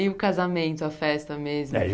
E o casamento, a festa mesmo?